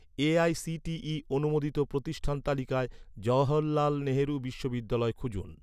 AICTE অনুমোদিত প্রতিষ্ঠান তালিকায়, জওহরলাল নেহেরু বিশ্ববিদ্যালয় খুঁজুন